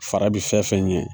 Fara bi fɛn fɛn ɲɛ